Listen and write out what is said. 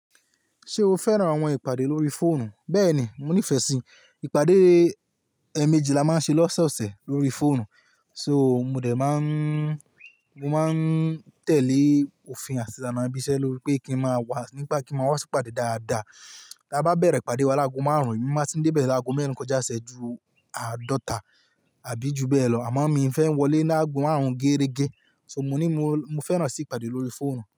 Ṣé o fẹ́ràn àwọn ìpàdé lórí fóònù? Bẹ́ẹ̀ni, mo nífẹ̀ẹ́ sí ìpàdé èèmejì la máa ń ṣe lọ́sẹ̀ ọ̀sẹ̀ lórí fóònù. So mo dè máa ń, mo máa ń tẹ̀lé òfin àti ìlànà ibi ísẹ́ lórí pé kí n máa wà nígbà kí a máa wá sí ìpàdé dáadáa. Bi a bá bẹ̀rẹ̀ ìpàdé wa lágo márùn-ún, emi máa ti n dé bẹ̀ láago mẹ́rin kọjá ṣẹ́ ju àádọ́ta àbí ju bẹ́ẹ̀ lọ. Àmọ́ mi fẹ́ ń wọlé lágo márùn-ún géérégé. So mo ní mo, mo fẹ́ràn sí ìpàdé lórí fóònù.